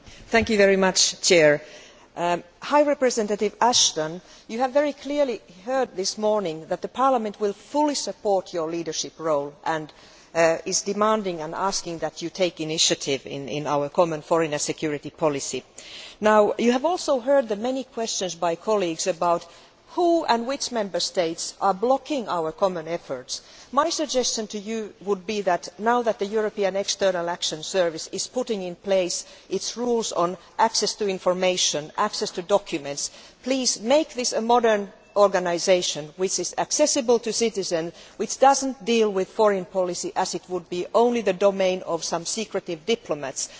Mr President, my comments are for Baroness Ashton. Vice President High Representative Ashton, you have very clearly heard this morning that Parliament will fully support your leadership role and is demanding that you take the initiative in our common foreign and security policy. You have also heard the many questions by colleagues about who and which Member States are blocking our common efforts. My suggestion to you would be that, now that the European External Action Service is putting in place its rules on access to information and access to documents, please make this a modern organisation which is accessible to citizens and which does not deal with foreign policy as if it were only the domain of some secretive diplomats.